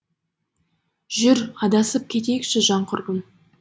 жүр адасып кетейікші жан құрбым